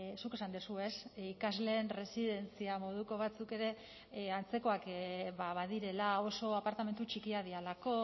zuk esan duzu ez ikasleen residentzia moduko batzuk ere antzekoak badirela oso apartamentu txikiak direlako